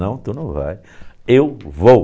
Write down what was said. Não, tu não vai, eu vou.